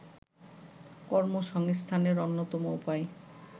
কর্মসংস্থানের অন্যতম উপায়